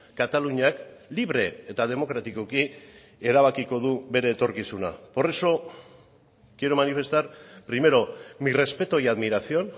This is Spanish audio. kataluniak libre eta demokratikoki erabakiko du bere etorkizuna por eso quiero manifestar primero mi respeto y admiración